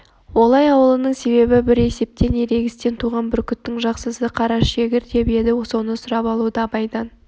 олай алуының себебі бір есептен ерегістен туған бүркіттің жақсысы қарашегір деп еді соны сұрап алуды абайдан